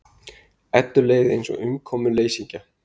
Eddu leið eins og umkomuleysingja.